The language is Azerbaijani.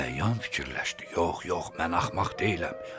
Əyan düşündü, yox, yox, mən axmaq deyiləm.